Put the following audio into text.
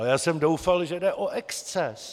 Ale já jsem doufal, že jde o exces.